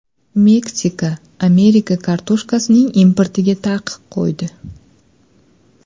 Meksika Amerika kartoshkasining importiga taqiq qo‘ydi.